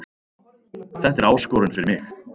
Þetta er áskorun fyrir mig